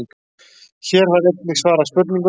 Hér var einnig svarað spurningunni: